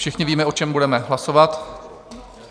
Všichni víme, o čem budeme hlasovat.